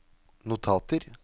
notater